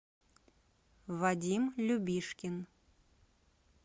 вадим любишкин